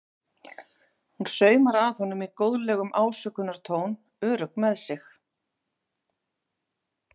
Hún saumar að honum í góðlegum ásökunartón, örugg með sig.